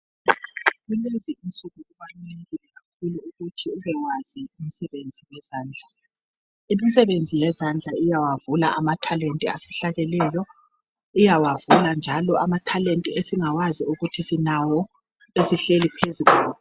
Kulezi insuku kubalulekile kakhulu ukuthi ubewazi imisebenzi eyezandla. Imisebenzi yezandla iyawavula amathalenti afihlakeleyo. Iyawavula njalo amathalente esingawazi ukuthi sinawo esehleli phezu kwawo